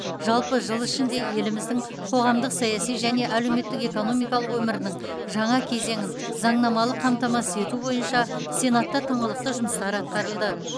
жалпы жыл ішінде еліміздің қоғамдық саяси және әлеуметтік экономикалық өмірінің жаңа кезеңін заңнамалық қамтамасыз ету бойынша сенатта тыңғылықты жұмыстар атқарылды